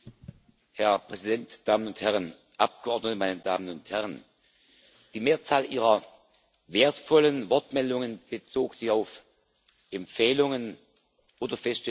Herr Präsident, Damen und Herren Abgeordnete, meine Damen und Herren! Die Mehrzahl Ihrer wertvollen Wortmeldungen bezog sich auf Empfehlungen oder Feststellungen.